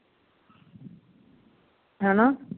ਹੈਨਾ